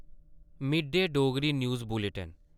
Mead day Dogri news bulletin